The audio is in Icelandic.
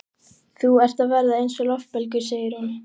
Þú ert að verða eins og loftbelgur, segir hún.